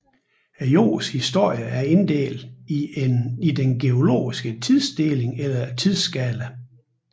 Jordens historie er inddelt i den geologiske tidsinddeling eller tidsskala